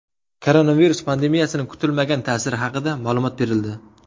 Koronavirus pandemiyasining kutilmagan ta’siri haqida ma’lumot berildi.